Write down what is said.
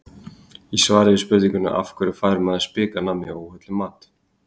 Í svari við spurningunni Af hverju fær maður spik af nammi og óhollum mat?